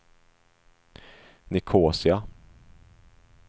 Nicosia